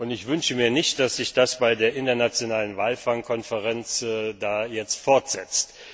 Ich wünsche mir nicht, dass sich das bei der internationalen Walfang Konferenz jetzt fortsetzt.